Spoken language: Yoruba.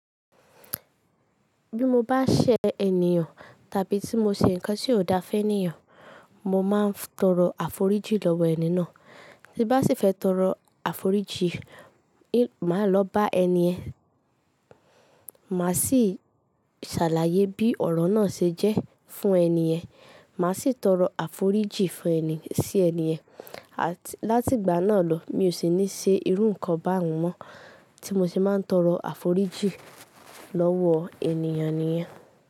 Bí mo bá ṣẹ́ ènìyàn tàbí tí mo ṣe nǹkan tí ò da fún ènìyàn, mo máa ń tọrọ àforíjì lọ́wọ́ ẹni náà. Bí bá sì fẹ́ tọrọ àforíjì, máa lọ bá ẹni ẹ̀. Máa sì ṣàlàyé bí ọ̀rọ̀ náà ṣe jẹ́ fún ẹni yẹ̀n. Máa sì tọrọ àforíjì fún ẹni sí ẹni yen. À tí láti ìgbà náà lọ, mi ò sì ní ṣe irú nǹkan bá wọn mọ́ tí mo sì máa ń tọrọ àforíjì lọ́wọ́ ènìyàn nìyẹn.